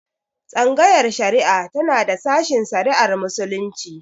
Tsangayar shari'a tana da sashen shari'ar Muslunci.